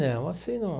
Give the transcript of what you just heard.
Não, assim num.